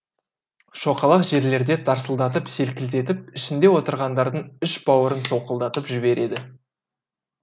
шоқалақ жерлерде тарсылдатып селкілдетіп ішінде отырғандардың іш бауырын солқылдатып жібереді